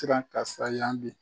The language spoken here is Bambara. Tiran ka sa yan bi